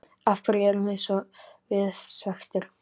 Af hverju erum við svekktir?